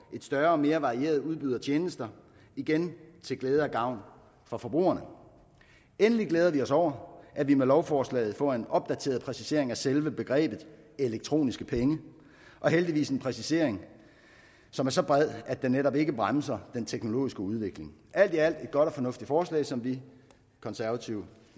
større og mere varieret udbud af tjenester igen til glæde og gavn for forbrugerne endelig glæder vi os over at vi med lovforslaget får en opdateret præcisering af selve begrebet elektroniske penge og heldigvis en præcisering som er så bred at den netop ikke bremser den teknologiske udvikling alt i alt et godt og fornuftigt forslag som vi konservative